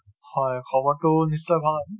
হয় খবৰ টো নিশ্চয় ভাল।